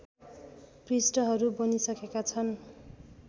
पृष्ठहरू बनिसकेका छन्